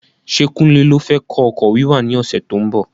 Ṣé kunle ló fẹ kọ́ ọkọ̀ wíwà ní ọsẹ tó ń bọ̀?